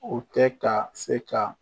O tɛ ka se ka